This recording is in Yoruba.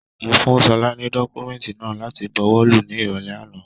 Mo fún Ṣọlá ni dọkumẹ̀ntí náà láti bùwọ́lù ní irọlẹ àna.